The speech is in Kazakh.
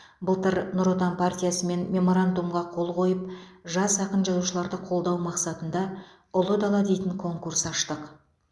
былтыр нұр отан партиясымен меморандумға қол қойып жас ақын жазушыларды қолдау мақсатында ұлы дала дейтін конкурс аштық